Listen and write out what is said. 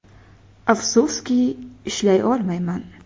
Afsuski ishlay olmayman.